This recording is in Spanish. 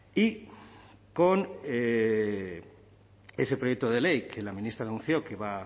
y con ese proyecto de ley que la ministra anunció que va